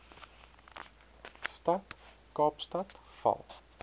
stad kaapstad val